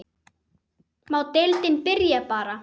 Má deildin byrja bara?